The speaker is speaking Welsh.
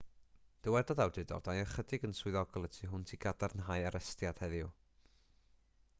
dywedodd awdurdodau ychydig yn swyddogol y tu hwnt i gadarnhau arestiad heddiw